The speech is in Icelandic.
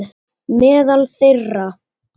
Meðal þeirra